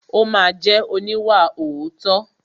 Ó ma jẹ́ oníwàòótọ́.